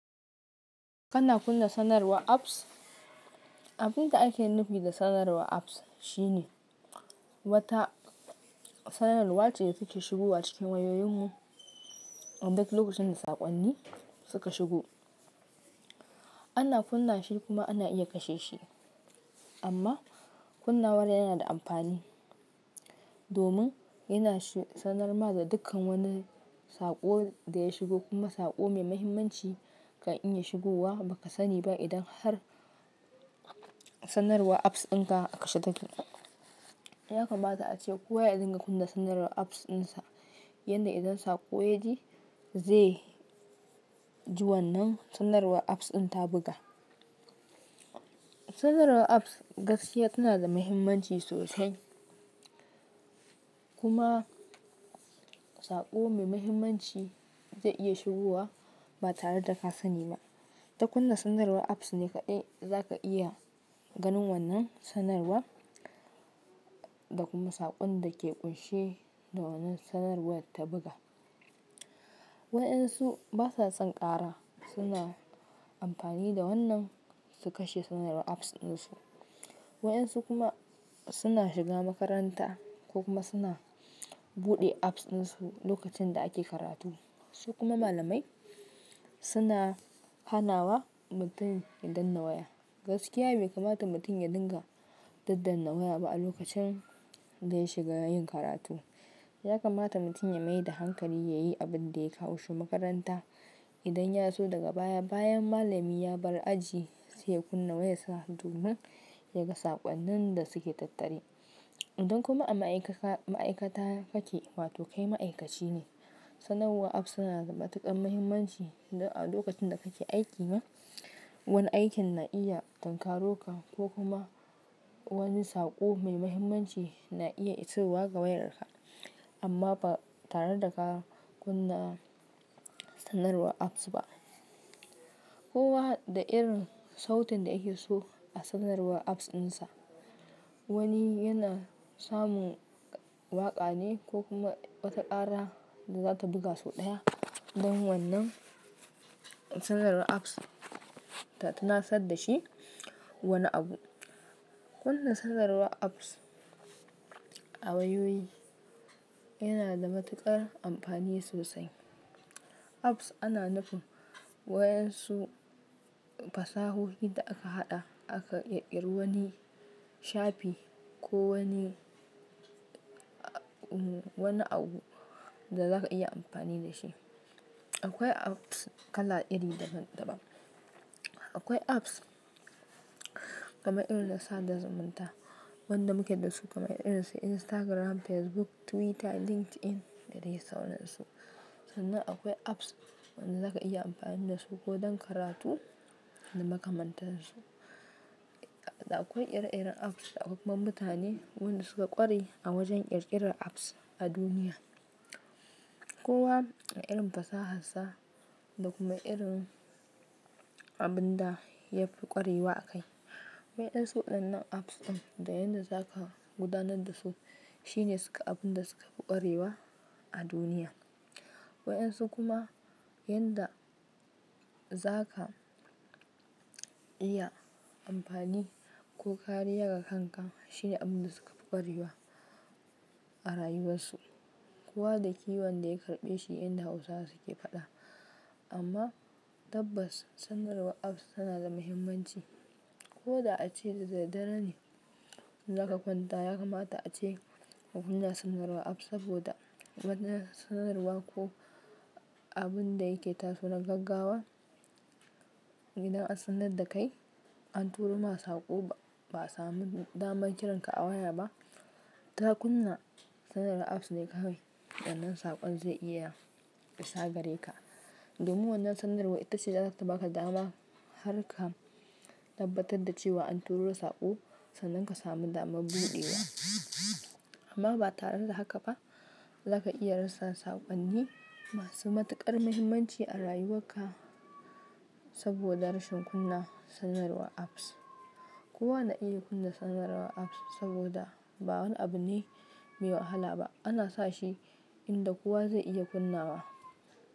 Kana kunna sanarwar apps? Abin da ake nufi da sanarwar apps shine wata sanarwa ce da take shigowa cikin wayoyinmu a duk lokacin da saƙonni suka shigo. Ana kunna shi kuma ana iya kashe shi. Amma kunnawar yana da amfani domin yana shi sanar ma da dukkan wani saƙo da ya shigo kuma saƙo mai mahimmanci kan iya shigowa, baka sa niba idan har sanarwa apps ɗinka a kashe take. Yakamata ace kowa ya dinga kunna sanarwar apps ɗinsa, yanda idan saƙo yaji zai ji wannan sanarwar apps ɗin ta buga. Sanarwar apps gaskiya tana da mahimmanci sosai. Kuma saƙo mai mahimmanci zai iya shigowa ba tare da ka sani ba. Da kunna sanarwar apps ne kaɗai za ka iya ganin wannan sanarwa da kuma saƙon da ke ƙunshe da wannan sanarwar ta buga. Waɗansu basa son kara suna amfani da wannan su kashe sanarwar apps ɗinsu. Waɗansu kuma suna shiga makaranta ko kuma suna buɗe apps ɗinsu lokacin da ake karatu. Su kuma malamai suna hanawa mutum ya danna waya. Gaskiya bai kamata mutum ya dinga daddanna waya ba a lokacin da ya shiga yin karatu. Yakamata mutum ya maida hankali yayi abun da ya kawo shi makaranta. Idan yaso daga baya, bayan malami ya bar aji zai kunna wayarsa domin ya ga saƙonnin da suke tattare. Idan kuma a ma'aikata ma'aikata kake wato kai ma'aikaci ne, sanarwar apps suna da matuƙar mahimmanci a lokacin da kake aiki ma. Wani aikin na iya tunkaro ka ko kuma wani saƙo mai mahimmanci na iya iso wa ga wayarka amma ba tare da ka kunna sanarwar apps ba. Kowa da irin sautin da yake so a sanarwar apps ɗinsa. Wani yana samun waƙa ne ko kuma wata kara da zata buga sau ɗaya don wannan sanarwar apps ta tunasar da shi wani abu. Kunna sanarwar apps a wayoyi yana da matuƙar amfani sosai. Apps ana nufin wayan su fasahohi da aka haɗa aka ƙirƙiri wani shafi ko wani wani abu da za ka iya amfani da shi. Akwai apps kala iri da daban. Akwai apps kamar irin da sada zumunta. Waɗanda muke dasu kamar irin su Instagram, Facebook, Twitter, LinkedIn da dai sauransu. Sannan akwai apps waɗanda za ka iya amfani da su ko don karatu da makamantansu. Da akwai ire-iren apps da akwai kuma mutane waɗanda suka ƙware a wajen ƙirƙirar apps a duniya. Kowa da irin fasaharsa da kuma irin abun da ya fi ƙwarewa akai. Waɗansu waɗannan apps ɗin da yanda za ka gudanar da su shine abun da suka fi ƙwarewa a duniya. Waɗansu kuma yanda za ka iya amfani ko kare ya kanka shine abun da suka fi ƙwarewa a rayuwarsu. Kowa da kiwon da ya karɓe shi inda Hausawa suke faɗa. Amma tabbas sanarwar apps tana da mahimmanci. Ko da ace da daddare ne za ka kwanta yakamata ace ka kunna sanarwar apps saboda wata sanarwa ko abun da yake tasowa na gaggawa. Idan an sanar da kai, an turo ma saƙo ba a samu damar kiran ka a waya ba. Ta kunna sanarwar apps ne kawai sannan saƙon zai iya isa gare ka. Domin wannan sanarwar ita ce za ta baka dama har ka tabbatar da cewa an turo saƙo sannan ka sami dama buɗe ya. Amma ba tare da haka ba za ka iya rasa saƙonni masu matuƙar mahimmanci a rayuwarka saboda rashin kunna sanarwar apps. Kowa na iya kunna sanarwar apps saboda ba wani abu ne mai wahala ba. Ana sa shi inda kowa zai iya kunnawa.